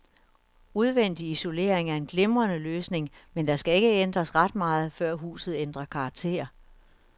Udvendig isolering er en glimrende løsning, men der skal ikke ændres ret meget, før huset ændrer karakter.